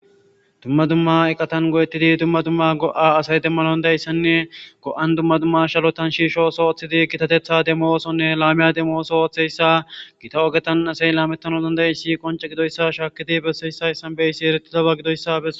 Dumma dumma iqatan go'etidi dumma dumma go'a demanaw danda'iyasanne go'an dumma dumma shalotan shiisho ootho oothidi gitatetha demo oothonne laame demo ootho oothiyayssa gita ogetan asay laametanaw danda'iyassi qoncce gidoyssa shaakidi besiyoysi eretidoba gidoyssa beso.